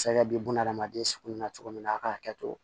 Sariya bɛ bunahadamaden sukuya cogo min na a k'a kɛ to